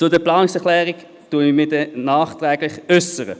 Zu den Planungserklärungen werde ich mich nachher äussern.